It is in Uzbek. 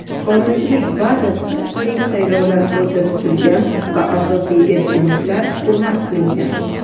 qonunchilik bazasida teng saylovlar ko‘zda tutilgan va asosiy erkinliklar hurmat qilingan.